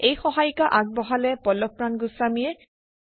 এই সহায়িকা আগবঢ়ালে পল্লৱপ্ৰাণ গোস্বামীয়ে